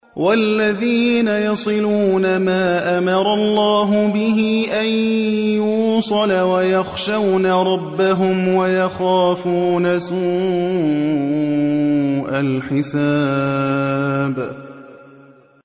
وَالَّذِينَ يَصِلُونَ مَا أَمَرَ اللَّهُ بِهِ أَن يُوصَلَ وَيَخْشَوْنَ رَبَّهُمْ وَيَخَافُونَ سُوءَ الْحِسَابِ